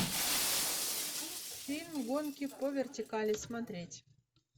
фильм гонки по вертикали смотреть